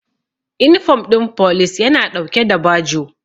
Inifom ɗin police ya na ɗauke da bajo